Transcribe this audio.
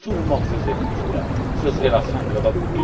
l'Europe! Si tout le monde faisait ainsi, ce serait la fin de